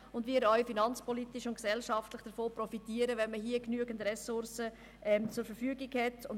Wir profitieren auch finanzpolitisch und gesellschaftlich, wenn wir in diesem Bereich genügend Ressourcen zur Verfügung haben.